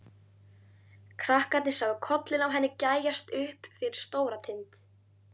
Krakkarnir sáu kollinn á henni gægjast upp fyrir Stóratind.